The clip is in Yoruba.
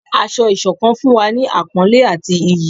Ásọ̀-ìsokán fún wa ni àpónlé àti ìyí